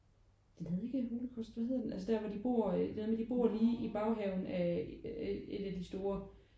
Den hedder ikke Holocaust hvad hedder den? Altså der hvor de bor øh der hvor de bor lige i baghaven af et af de store